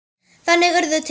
Þannig urðu til